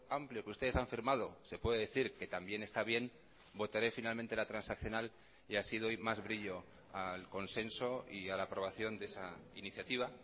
amplio que ustedes han firmado se puede decir que también está bien votaré finalmente la transaccional y así doy más brillo al consenso y a la aprobación de esa iniciativa